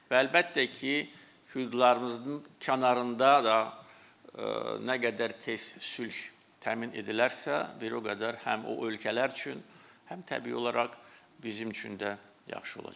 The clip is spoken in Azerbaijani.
Və əlbəttə ki, füturların kənarında da nə qədər tez sülh təmin edilərsə, bir o qədər həm o ölkələr üçün, həm təbii olaraq bizim üçün də yaxşı olacaq.